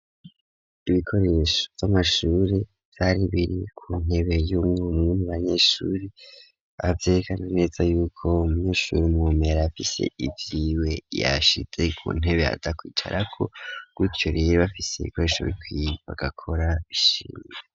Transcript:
Ibikoresho vy'amashure vyari biri kuntebe y'umwe muba banyeshure avyerekana neza yuko munyeshure mubomera yafise ivyiwe yashize ku ntebe aza kwicara ko gutyo rero bafise ikoresho bariko barakora bishimye.